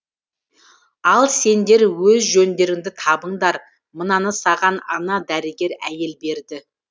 ал сендер өз жөндеріңді табыңдар мынаны саған ана дәрігер әйел берді